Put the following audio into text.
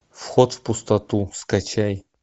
вход в пустоту скачай